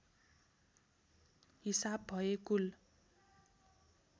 हिसाब भए कुल